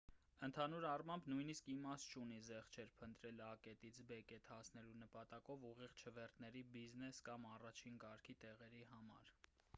ընդհանուր առմամբ նույնիսկ իմաստ չունի զեղչեր փնտրել ա կետից բ կետ հասնելու նպատակով ուղիղ չվերթների բիզնես կամ առաջին կարգի տեղերի համար